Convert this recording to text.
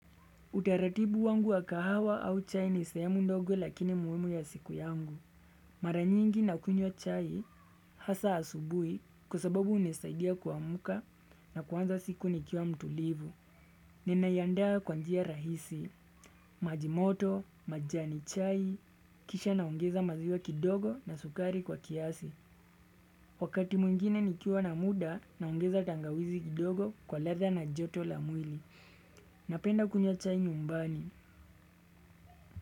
Utaratibu wangu wa kahawa au chai ni sehemu ndogo lakini muhimu ya siku yangu. Mara nyingi na kunywa chai hasa asubui kwa sababu hunisaidia kuamuka na kuanza siku nikiwa mtulivu. Ninaiandaa kwa njia rahisi, maji moto, majani chai, kisha naongeza maziwa kidogo na sukari kwa kiasi. Wakati mwingine ni kiwa na muda naongeza tangawizi kidogo kwa ladha na joto la mwili. Napenda kunywa chai nyumbani.